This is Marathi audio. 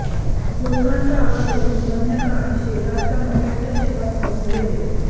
लोकांचा आवाज ऐकून वन्यप्राणी शेजारच्या मकाच्या शेतात पळून गेले